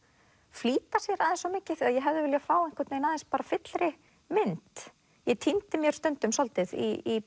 flýta sér aðeins of mikið ég hefði viljað fá aðeins fyllri mynd ég týndi mér stundum svolítið í